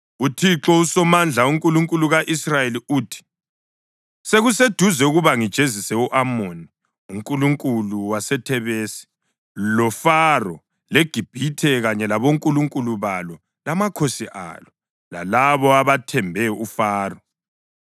UThixo uSomandla, uNkulunkulu ka-Israyeli uthi: “Sekuseduze ukuba ngijezise u-Amoni unkulunkulu waseThebesi, loFaro, leGibhithe kanye labonkulunkulu balo lamakhosi alo, lalabo abathembe uFaro.